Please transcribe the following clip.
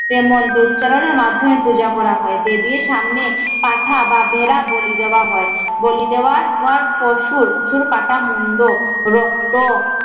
যে মন্ত্র উচ্চারণের মার্ধমে পূজা করা হয় দেবীর সামনে পাঠা বা ভেড়া বলি দেওয়া হয়, বলি দেওয়া ওয়ার পশুর সুর কাটা মুন্ড, রক্ত